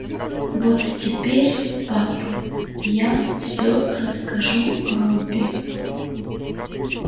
вот теперь пап я всё расскажу робби